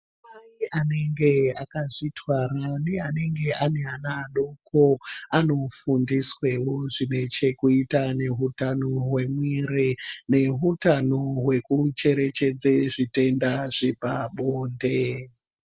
Ana mai anenge akazvi twara ne anenge ane ana adoko ano fundiswewo zvine chekuita ne hutano hwe mwiri ne hutano hweku cherechedze zvitenda zvepa bonde.